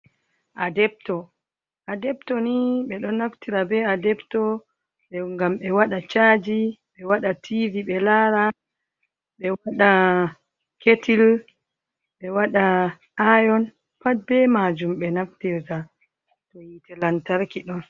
Adepto, adepto ni ɓeɗo naftira be adepto e gam ɓe waɗa chaji ɓe waɗa tivi ɓe lara, ɓe wada ketil, ɓe waɗa ayon pat be maajum ɓe naftirga to yite lantarki ɗon.